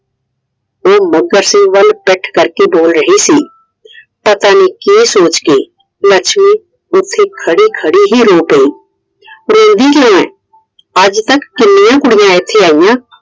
ਉਹ ਮੱਘਰ ਸਿੰਘ ਵੱਲ ਪਿੱਠ ਕਰਕੇ ਬੋਲ ਰਹੀ ਸੀ I ਪਤਾ ਨਹੀਂ ਕਿ ਸੋਚ ਕੇ ਲੱਛਮੀ ਉੱਥੇ ਖੜੇ ਖੜੇ ਹੀ ਰੋ ਪਈ I ਰੋਂਦੀ ਕਿਉਂ ਐਂ? ਅੱਜ ਤੱਕ ਕਿੰਨੀਆਂ ਹੀ ਕੁੜੀਆਂ ਇਥੇ ਆਇਆਂ